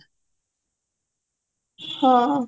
ହଁ